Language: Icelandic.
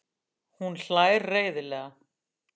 Hún hlær reiðilega.